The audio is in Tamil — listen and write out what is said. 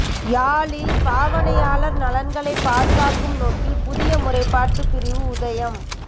யாழில் பாவனையாளர் நலன்களைப் பாதுகாக்கும் நோக்கில் புதிய முறைப்பாட்டுப் பிரிவு உதயம்